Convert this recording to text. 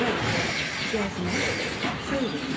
B. Gəzmək, seyr etmək.